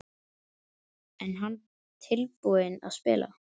Er hann tilbúinn að spila?